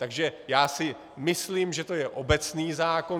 Takže já si myslím, že to je obecný zákon.